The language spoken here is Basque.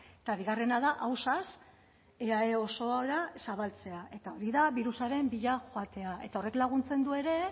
eta bigarrena da ausaz eae osora zabaltzea eta hori da birusaren bila joatea eta horrek laguntzen du ere